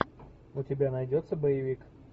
у тебя найдется боевик